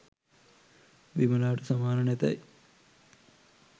විමලාට සමාන නැතැයි